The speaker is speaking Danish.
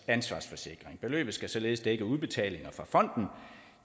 ansvarsforsikring beløbet skal således dække udbetalinger fra fonden